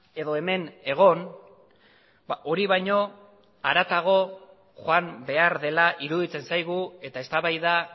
edo hemen egon hori baino haratago joan behar dela iruditzen zaigu eta eztabaida